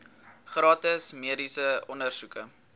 gratis mediese ondersoeke